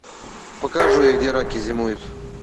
покажи где раки зимуют